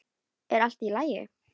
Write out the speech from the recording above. Er allt í lagi?